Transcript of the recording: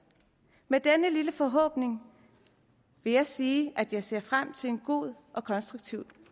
med denne lille forhåbning vil jeg sige at jeg ser frem til en god og konstruktiv